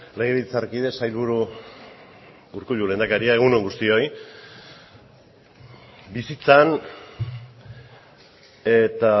legebiltzarkide sailburu urkullu lehendakaria egun on guztioi bizitzan eta